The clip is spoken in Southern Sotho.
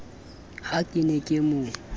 ha ke ne ke mo